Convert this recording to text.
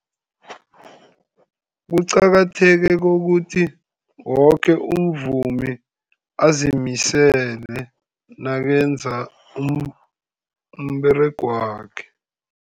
Kuqakatheke kokuthi woke umvumi azimisele nakenza umberego wakhe.